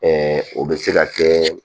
o bɛ se ka kɛ